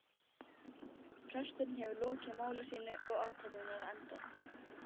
Presturinn hefur lokið máli sínu og athöfnin er á enda.